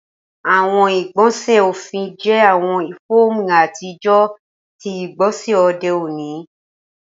Awọn igbọnsẹ ọfin jẹ awọn fọọmu atijọ ti igbonse ode oni